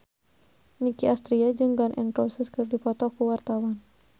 Nicky Astria jeung Gun N Roses keur dipoto ku wartawan